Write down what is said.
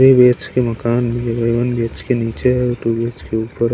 three B H K मकान one B H K नीचे two B H K ऊपर--